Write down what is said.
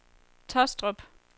Taastrup